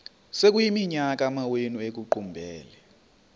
sekuyiminyaka amawenu ekuqumbele